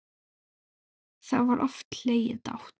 Þá var oft hlegið dátt.